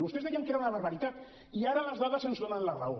vostès deien que era una barbaritat i ara les dades ens donen la raó